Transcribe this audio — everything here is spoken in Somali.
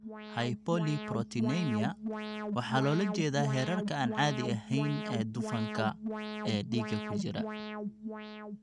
Hypolipoproteinemia waxaa loola jeedaa heerarka aan caadi ahayn ee dufanka (dufanka) ee dhiigga ku jira.